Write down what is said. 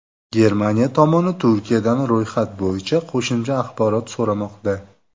Germaniya tomoni Turkiyadan ro‘yxat bo‘yicha qo‘shimcha axborot so‘ramoqda.